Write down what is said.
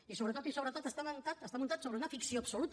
i sobretot i sobretot està muntat sobre una ficció absoluta